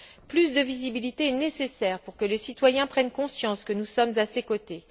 Plus de visibilité est nécessaire pour que les citoyens prennent conscience que nous sommes à leurs côtés.